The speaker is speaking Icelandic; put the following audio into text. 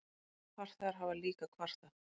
Farþegar hafa líka kvartað.